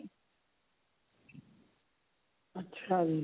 ਅੱਛਾ ਜੀ